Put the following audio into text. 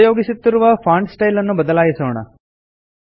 ಉಪಯೋಗಿಸುತ್ತಿರುವ font style ನ್ನು ಬದಲಾಯಿಸೋಣ